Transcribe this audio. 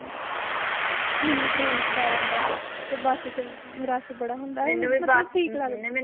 ਮੈਨੂੰ train ਚ ਡਰ ਆਉਂਦਾ ਤੇ ਬਸ ਚ ਰਸ਼ ਬੜਾ ਹੁੰਦਾ ਮਤਲਬ ਠੀਕ ਲੱਗਦਾ